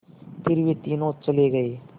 फिर वे तीनों चले गए